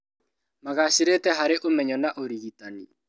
Magacĩrĩte harĩ ũmenyo na ũrigitani